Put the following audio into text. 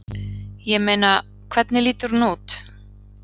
Ég meina. hvernig lítur hún út?